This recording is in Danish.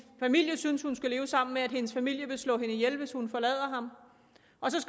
familie synes hun skal leve sammen med og at hendes familie vil slå hende ihjel hvis hun forlader ham